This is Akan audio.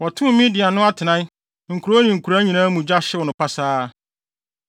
Wɔtoo Midian no atenae, nkurow ne nkuraa nyinaa mu gya, hyew no pasaa.